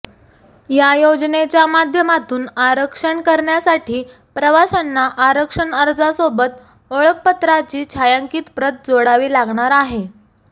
या योजनेच्या माध्यमातून आरक्षण करण्यासाठी प्रवाशांना आरक्षण अर्जासोबत ओळखपत्राची छायांकित प्रत जोडावी लागणार आहे